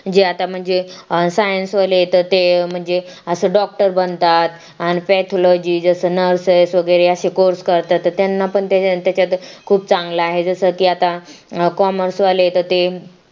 जे आता म्हणजे science वाले तर ते म्हणजे अस doctor बनतात आणि pythalogy जसं nurses वगैरे असे course करतात त्यांना पण खूप चांगला आहे जसं की आता commerce वाले ते